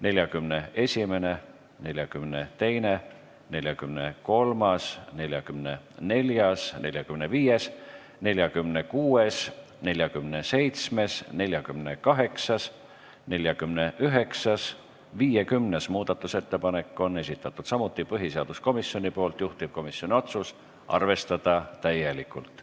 41., 42., 43., 44., 45., 46., 47., 48., 49. ja 50. muudatusettepaneku on esitanud samuti põhiseaduskomisjon, juhtivkomisjoni otsus on arvestada täielikult.